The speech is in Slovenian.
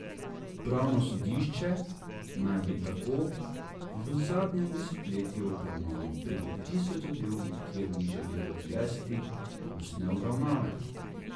Upravno sodišče naj bi tako v zadnjem desetletju obravnavalo preko tisoč zadev, kjer ni želelo izvesti ustne obravnave.